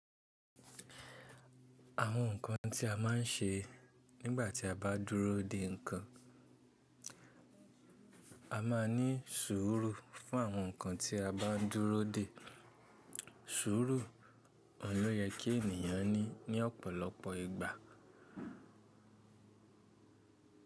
Àwọn nǹkan tí a má ń ṣe nígbà tí a bá dúró dè nǹkan. A máa ní sùúrù fún àwọn nǹkan tí a bá ń dúró dè. Sùúrù, òhun ló yẹ kí ènìyàn ní ní ọ̀pọ̀lọpọ̀ ìgbà.